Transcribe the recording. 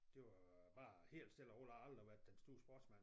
Det var bare helt stille og roligt jeg har aldrig været den store sportsmand